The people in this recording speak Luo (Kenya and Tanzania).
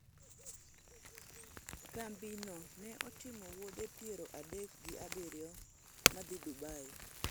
kambi no ne otimo wuodhe piero adek gi abiriyo madhi Dubai,